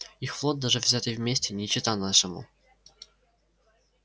их флот даже взятый вместе не чета нашему